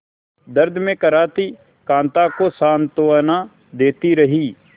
दर्द में कराहती कांता को सांत्वना देती रही